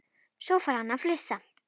Svo fór hann að flissa.